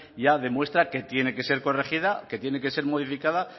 ya demuestra que tiene que ser corregida que tiene que ser modificada